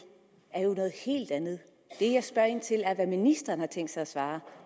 er jo noget helt andet det jeg spørger ind til er hvad ministeren har tænkt sig at svare